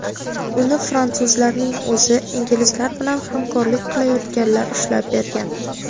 Uni fransuzlarning o‘zi, inglizlar bilan hamkorlik qilayotganlar ushlab bergan.